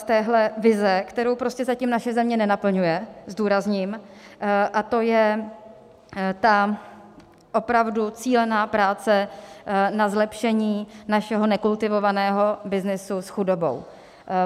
Z téhle vize, kterou prostě zatím naše země nenaplňuje, zdůrazním - a to je ta opravdu cílená práce na zlepšení našeho nekultivovaného byznysu s chudobou.